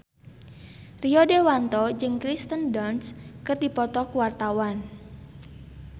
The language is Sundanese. Rio Dewanto jeung Kirsten Dunst keur dipoto ku wartawan